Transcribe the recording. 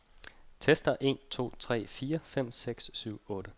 Tester en to tre fire fem seks syv otte.